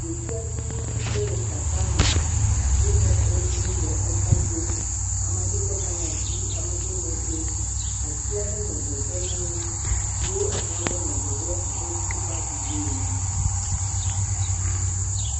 Ɖevi aɖewo dze le tata me. Wonɔ kɔ ɖim nɔ eka dzom. Ame aɖewo le ka ɖe asi, ame aɖewo nɔ dzom. Ati aɖe nɔ adzɔge na wo eye exɔ aɖe nɔ adzɔge abe suku paki ene.